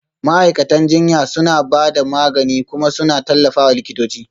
Ma'aikatan jinya suna ba da magani kuma suna tallafawa likitoci